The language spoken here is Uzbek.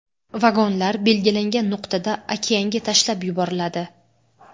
Vagonlar belgilangan nuqtada okeanga tashlab yuboriladi.